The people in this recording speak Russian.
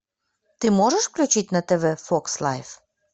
ты можешь включить на тв фокс лайф